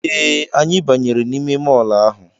Ee, Anyị banyere n'ime mọl ahụ